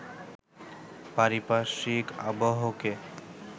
পারিপার্শ্বিক আবহকে